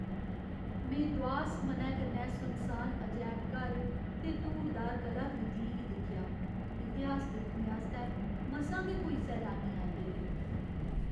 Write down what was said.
में दुआस मनै कन्नै सुनसान अजैबघर ते धूड़दार कलाकृतियें गी दिक्खेआ। इतिहास दिक्खने आस्तै मसां गै कोई सैलानी आए दे हे।